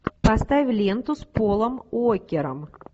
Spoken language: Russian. поставь ленту с полом уокером